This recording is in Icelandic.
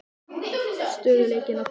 Stöðugleikinn að koma?